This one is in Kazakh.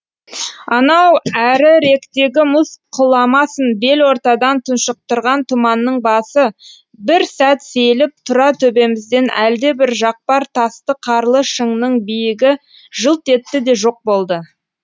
анау әріректегі мұз құламасын бел ортадан тұншықтырған тұманның басы бір сәт сейіліп тура төбемізден әлдебір жақпар тасты қарлы шыңның биігі жылт етті де жоқ болды